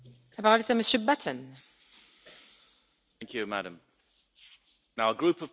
Madam President, a group of people are being unjustly persecuted in the UK.